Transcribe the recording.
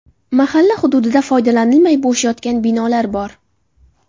Mahalla hududida foydalanilmay bo‘sh yotgan binolar bor.